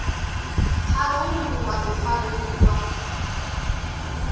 pharou ḽu wa ḓo farelwa